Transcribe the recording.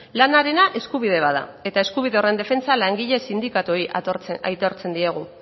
lanarena eskubide bat da eta eskubide horren defentsan langile sindikatuei aitortzen diegu